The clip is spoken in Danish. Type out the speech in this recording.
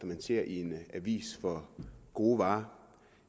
man ser i en avis for gode varer